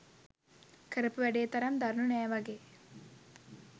කරපු වැඩේ තරම් දරුණු නෑ වගේ